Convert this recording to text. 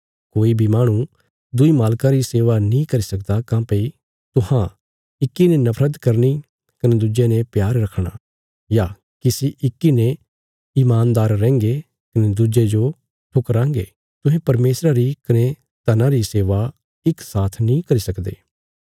कोई बी माहणु दुईं मालकां री सेवा नीं करी सकदा काँह्भई तुहां इक्की ने नफरत करनी कने दुज्जे ने प्यार रखणा या किसी इक्की ने ईमानदार रैहंगे कने दुज्जे जो ठुकराँगे तुहें परमेशरा री कने धना री सेवा इक साथ नीं करी सकदे